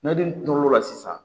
N'ale turula sisan